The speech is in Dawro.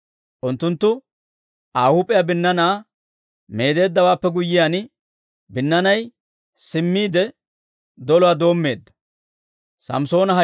Unttunttu Aa huup'iyaa binnaanaa meedeeddawaappe guyyiyaan, binnaanay simmiide doluwaa doommeedda.